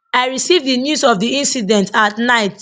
i receive di news of di incident at night